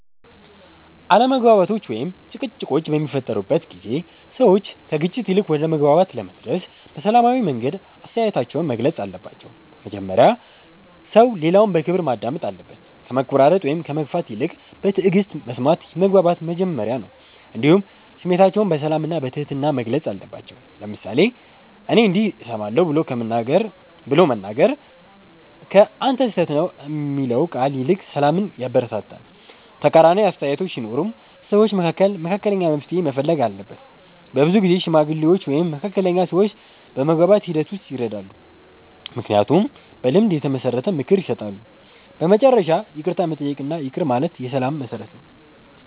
አለመግባባቶች ወይም ጭቅጭቆች በሚፈጠሩበት ጊዜ ሰዎች ከግጭት ይልቅ ወደ መግባባት ለመድረስ በሰላማዊ መንገድ አስተያየታቸውን መግለጽ አለባቸው። መጀመሪያ ሰው ሌላውን በክብር ማዳመጥ አለበት፣ ከመቆራረጥ ወይም ከመግፋት ይልቅ በትዕግስት መስማት የመግባባት መጀመሪያ ነው። እንዲሁም ስሜታቸውን በሰላም እና በትህትና መግለጽ አለባቸው፤ ለምሳሌ “እኔ እንዲህ እሰማለሁ” ብሎ መናገር ከ“አንተ ስህተት ነህ” የሚለው ቃል ይልቅ ሰላምን ያበረታታል። ተቃራኒ አስተያየቶች ሲኖሩም ሰዎች መካከል መካከለኛ መፍትሔ መፈለግ አለበት። በብዙ ጊዜ ሽማግሌዎች ወይም መካከለኛ ሰዎች በመግባባት ሂደት ውስጥ ይረዳሉ፣ ምክንያቱም በልምድ የተመሰረተ ምክር ይሰጣሉ። በመጨረሻ ይቅርታ መጠየቅ እና ይቅር ማለት የሰላም መሠረት ነው።